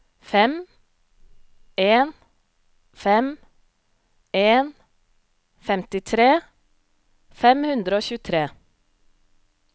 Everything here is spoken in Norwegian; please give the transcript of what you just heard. fem en fem en femtitre fem hundre og tjuetre